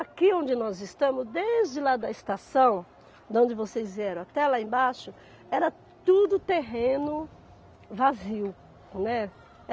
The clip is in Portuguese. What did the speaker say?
Aqui onde nós estamos, desde lá da estação, de onde vocês vieram até lá embaixo, era tudo terreno vazio, né.